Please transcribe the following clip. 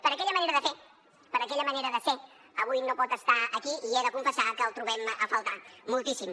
per aquella manera de fer per aquella manera de ser avui no pot estar aquí i he de confessar que el trobem a faltar moltíssim